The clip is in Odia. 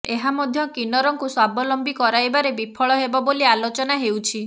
ଏହା ମଧ୍ୟ କିନ୍ନରଙ୍କୁ ସ୍ୱାବଲମ୍ବୀ କରାଇବାରେ ବିଫଳ ହେବ ବୋଲି ଆଲୋଚନା ହେଉଛି